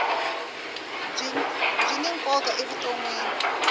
byi ni nkoka evutonwini